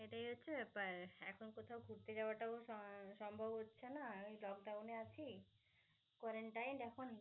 এটাই হচ্ছে প্রায়শ এখন কোথাও ঘুরতে যাওয়াও সম~সম্ভব হচ্ছেনা. lockdown এ আছি quarantine এখন.